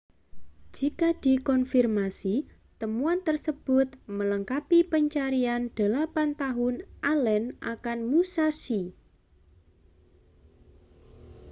jika dikonfirmasi temuan tersebut melengkapi pencarian delapan tahun allen akan musashi